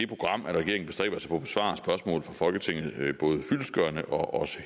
program at regeringen bestræber sig på at besvare spørgsmål fra folketinget fyldestgørende og